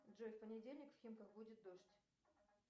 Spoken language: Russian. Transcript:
джой в понедельник в химках будет дождь